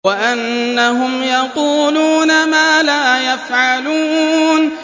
وَأَنَّهُمْ يَقُولُونَ مَا لَا يَفْعَلُونَ